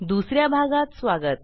दुस या भागात स्वागत